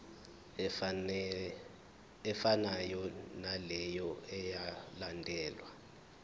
efanayo naleyo eyalandelwa